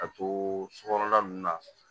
Ka to sokɔnɔla ninnu na